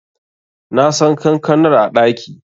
Nasan kankanar a ɗaki.